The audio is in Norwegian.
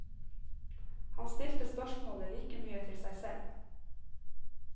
Han stilte spørsmålet like mye til seg selv.